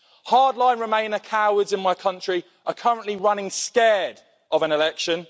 Hard line remainer cowards in my country are currently running scared of an election.